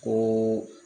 Ko